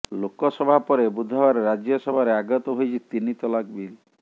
ଲୋକସଭା ପରେ ବୁଧବାର ରାଜ୍ୟସଭାରେ ଆଗତ ହୋଇଛି ତିନି ତଲାକ୍ ବିଲ୍